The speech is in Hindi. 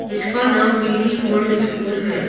जिसका नाम बीडी वर्ल्ड स्कूल है।